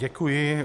Děkuji.